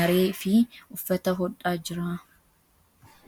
maree fi uffata hodhaa jira.